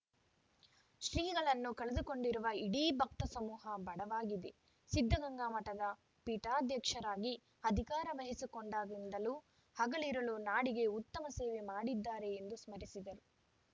ಶ್ರೀಗಳನ್ನು ಕಳೆದುಕೊಂಡಿರುವ ಇಡೀ ಭಕ್ತ ಸಮೂಹ ಬಡವಾಗಿದೆ ಸಿದ್ಧಗಂಗಾ ಮಠದ ಪೀಠಾಧ್ಯಕ್ಷರಾಗಿ ಅಧಿಕಾರ ವಹಿಸಿಕೊಂಡಾಗಿನಿಂದಲೂ ಹಗಲಿರುಳು ನಾಡಿಗೆ ಉತ್ತಮ ಸೇವೆ ಮಾಡಿದ್ದಾರೆ ಎಂದು ಸ್ಮರಿಸಿದರು